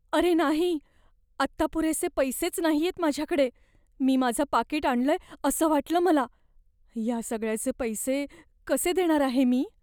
अरे नाही! आत्ता पुरेसे पैसेच नाहीयेत माझ्याकडे, मी माझं पाकीट आणलंय असं वाटलं मला. या सगळ्याचे पैसे कसे देणार आहे मी?